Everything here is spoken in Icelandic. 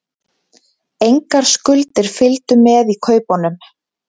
Engar skuldir fylgdu með í kaupunum